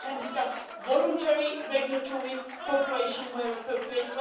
where we can discuss voluntary regulatory cooperation, where appropriate